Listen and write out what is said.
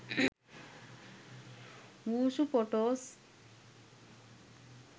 wushu photos